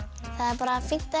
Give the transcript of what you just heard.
það er bara fínt að